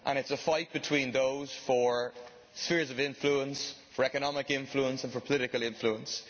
It is a fight between those for spheres of influence, for economic influence and political influence.